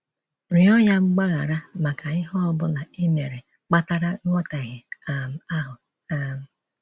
Rịọ ya mgbaghara maka ihe ọ bụla i mere kpatara nghọtahie um ahụ. um